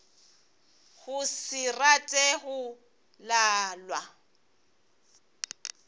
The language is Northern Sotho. go se rate go lalwa